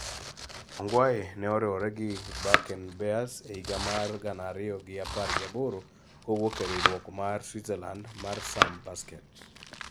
Ongwae ne oriwore gi Bakken Bears e higa mar gana ariyo gi apar gi aboro kowuok e riwruok mar Switzerland mar SAM Basket